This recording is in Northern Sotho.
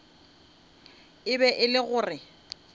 e be e le gore